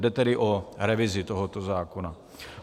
Jde tedy o revizi tohoto zákona.